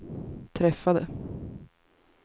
träffade